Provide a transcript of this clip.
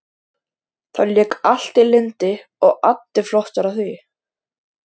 Þá lék allt í lyndi og addi flottur á því.